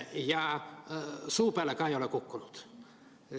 Ja suu peale ka ei ole kukkunud.